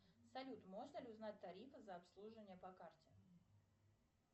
салют можно ли узнать тарифы за обслуживание по карте